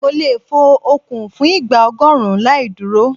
Mo lè fo okùn fún ìgbà ọgọ́rùn-ún láì dúró.